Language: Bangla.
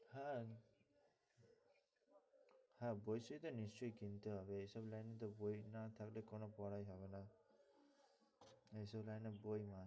হ্যাঁ হ্যাঁ বলছি তো নিশ্চয়ই কিনতে হবে এইসব line এ বই না থাকলে কোনো পড়াই হবে না এই সব line এ বই must.